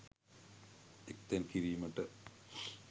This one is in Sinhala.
එක්තැන් කිරීමට